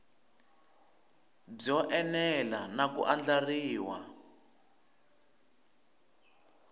byo enela na ku andlariwa